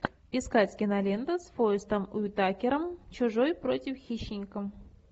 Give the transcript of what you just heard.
искать киноленту с форестом уитакером чужой против хищника